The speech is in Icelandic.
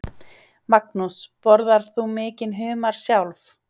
Magnús: Borðar þú mikinn humar sjálf?